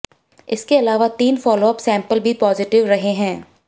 इसके अलावा तीन फॉलोअप सैंपल भी पॉजिटिव रहे हैं